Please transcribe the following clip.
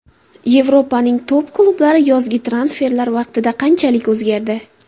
Yevropaning top-klublari yozgi transferlar vaqtida qanchalik o‘zgardi?.